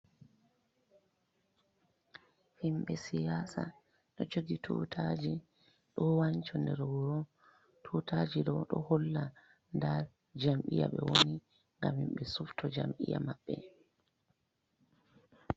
Himbe siyasa ɗo jogi tutaji ɗo wanca nder wuro, tutaji ɗo ɗo holla nda jam'iya ɓe woni ngam himɓe sufto jam'iya maɓɓe.